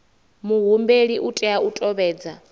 muhumbeli u tea u tevhedza